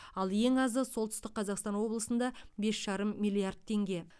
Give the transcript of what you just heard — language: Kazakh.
ал ең азы солтүстік қазақстан облысында бес жарым миллиард теңге